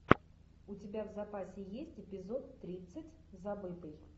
у тебя в запасе есть эпизод тридцать забытый